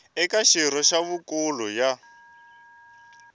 eka xirho xa huvonkulu ya